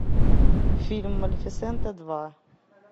фильм малефисента два